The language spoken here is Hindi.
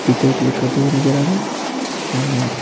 पिक्चर क्लिक करते हुए नजर आ रहे है सामने ।